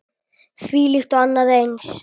Þvílíkt og annað eins.